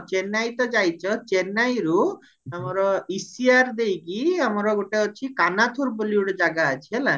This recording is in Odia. ଚେନ୍ନାଇ ତ ଯାଇଚରୁ ଆମର ECR ଦେଇକି ଅମାର ଗୋଟେ ଅଛି କନାଥୁର ବୋଲି ଗୋଟେ ଜାଗା ଅଛି ହେଲା